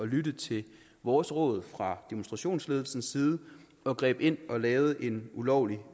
lytte til vores råd fra demonstrationsledelsens side og greb ind og lavede en ulovlig